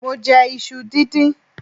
mọ jẹ isú díndín